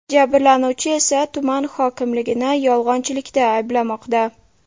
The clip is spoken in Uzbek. Jabrlanuvchi esa tuman hokimligini yolg‘onchilikda ayblamoqda.